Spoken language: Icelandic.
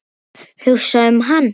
Ég trekkti fóninn upp.